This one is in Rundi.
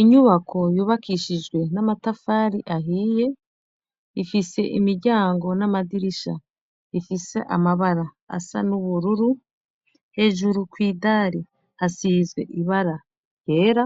Inyubako yubakishijwe n'amatafari ahiye, ifise imiryango n'amadirisha ifise amabara asa n'ubururu hejuru kw'idari hasizwe ibara yera